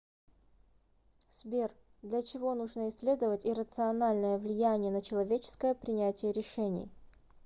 сбер для чего нужно исследовать иррациональное влияние на человеческое принятие решений